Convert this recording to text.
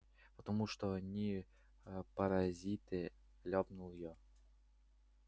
потому что они аа паразиты ляпнул я